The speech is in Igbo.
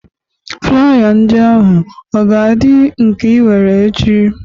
Flaya ndị ahụ ọ ga-adị nke iwere ech?i